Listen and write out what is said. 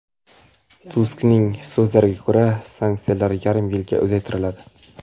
Tuskning so‘zlariga ko‘ra, sanksiyalar yarim yilga uzaytiriladi.